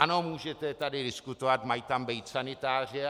Ano, můžete tady diskutovat, mají tam být sanitáři.